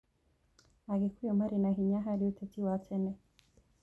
Agĩkũyũ marĩ na hinya harĩ ũteti wa tene.